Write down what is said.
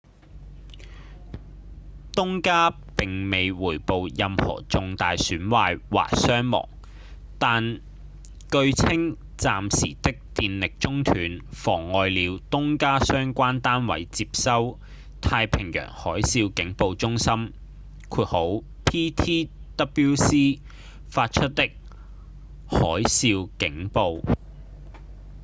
東加並未回報任何重大損壞或傷亡但據稱暫時的電力中斷妨礙了東加相關單位接收太平洋海嘯警報中心 ptwc 發出之海嘯警報